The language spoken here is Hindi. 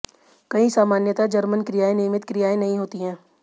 कई सामान्यतः जर्मन क्रियाएं नियमित क्रियाएं नहीं होती हैं